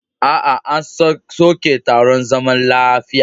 Aa, an soke taron zaman lafiyan.